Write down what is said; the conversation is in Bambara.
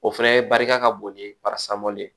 O fɛnɛ ye barika ka bon ni parasamɔli ye